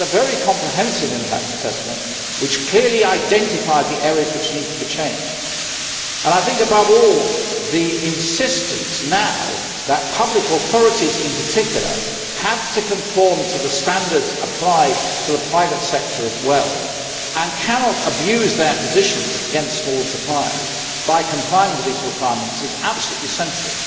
We had a very comprehensive impact assessment which clearly identified the areas which needed to be changed. Above all, the insistence now that public authorities in particular also have to conform to the standards applied to the private sector and cannot abuse their position against small suppliers by complying with these requirements, is absolutely central.